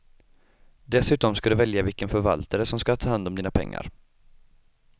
Dessutom ska du välja vilken förvaltare som ska ta hand om dina pengar.